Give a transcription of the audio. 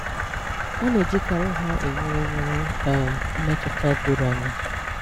A na-èjíkàrị́ ha ewerè ewerè um mmetụtà dòrò ànyà